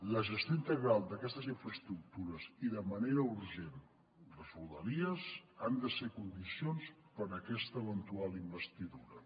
la gestió integral d’aquestes infraestructures i de manera urgent les rodalies han de ser condicions per a aquesta eventual investidura